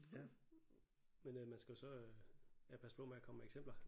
Ja men øh man skal jo så øh ja passe på med at komme med eksempler